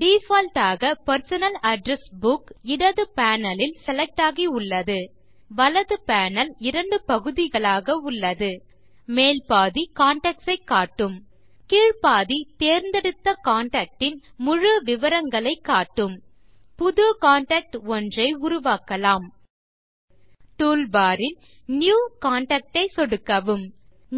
default ஆக personal address book இடது panelலில் செலக்ட் ஆகியுள்ளது வலது பேனல் இரண்டு பகுதிகளாக உள்ளது மேல் பாதி கான்டாக்ட்ஸ் ஐ காட்டுகிறது கீழ் பாதி தேர்ந்தெடுத்த கான்டாக்ட் இன் முழு விவரங்களை காட்டுகிறது புது கான்டாக்ட் ஒன்றை உருவாக்கலாம் டூல்பார் இல் நியூ கான்டாக்ட் ஐ சொடுக்கவும்